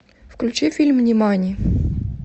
включи фильм нимани